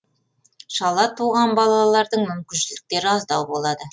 шала туылған балалардың мүмкіншіліктері аздау болады